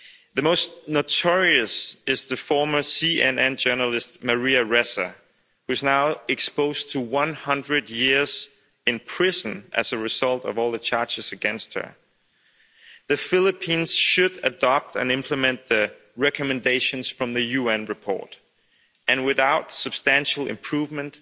The most notorious is the former CNN journalist, Maria Ressa, who is now exposed to one hundred years in prison as a result of all the charges against her. The Philippines should adopt and implement the recommendations from the UN report and, without substantial improvement,